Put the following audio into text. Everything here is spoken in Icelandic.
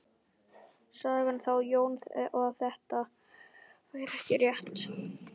Sagði þá Jón að þetta væri ekki rétt.